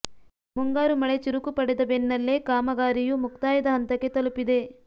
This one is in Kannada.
ಮುಂಗಾರು ಮಳೆ ಚುರುಕು ಪಡೆದ ಬೆನ್ನಲ್ಲೇ ಕಾಮಗಾರಿಯೂ ಮುಕ್ತಾಯದ ಹಂತಕ್ಕೆ ತಲುಪಿದೆ